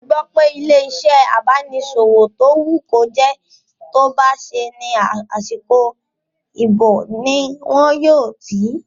Mo gbọ́ pé ilé-iṣẹ́ abánisẹ́wò tó wù kó jẹ́ tó bá ṣẹ́ ní àsìkò ìbò ní wọn yóò tì